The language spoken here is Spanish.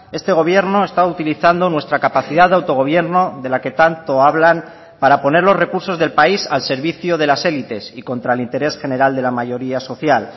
este gobierno está utilizando nuestra capacidad de autogobierno de la que tanto hablan para poner los recursos del país al servicio de las élites y contra el interés general de la mayoría social